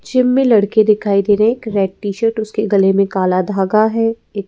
gym मे लड़की दिखाई दे रही है एक रेड टी-शर्ट उसके गले मे काला धागा है ये --